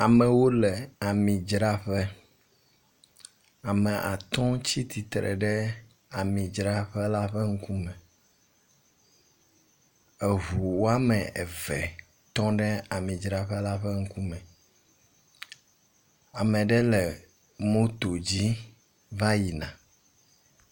Amewo le amidzraƒe. Ame atɔ̃ tsi tsitre ɖe amidzraƒe la ƒe ŋkume. Eŋu wome eve tɔ ɖe amidzraƒe la ƒe ŋkume. Ame aɖe le moto dzi va yina.